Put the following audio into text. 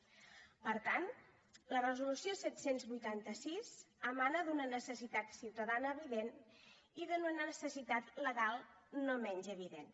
per tant la resolució set cents i vuitanta sis emana d’una necessitat ciutadana evident i d’una necessitat legal no menys evident